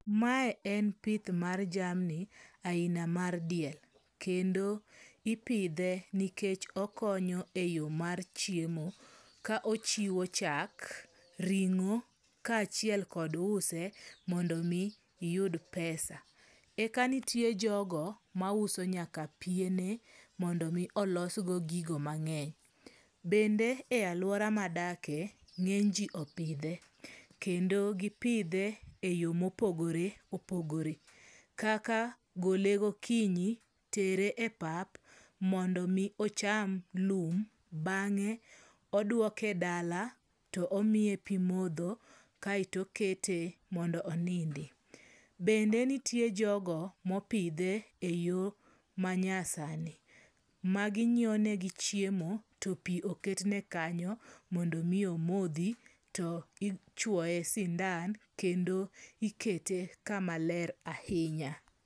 Mae en pith mar jamni aina mar diel. Kendo ipidhe nikech okonyo e yo mar chiemo ka ochiwo chak, ring'o ka achiel kod use mondo mi iyud pesa. Eka nitie jogo ma uso nyaka piene mondo omi olosgo gigo mang'eny. Bende e aluora madake, ng'eny ji opidhe. Kendo gipidhe e yo mopogore opogore. Kaka gole gokinyi, tere e pap mondo mi ocham lum bang'e odwoke dala to omiye pi modho kaeto okete mondo onindi. Bende nitie jogo mopidhe e yo manya sani. Ma ginyiewne gi chiemo to pi oketne kanyo mondo mi omodhi to ichwoye sindan kendo ikete kama lker ahinya.